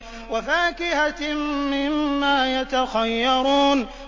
وَفَاكِهَةٍ مِّمَّا يَتَخَيَّرُونَ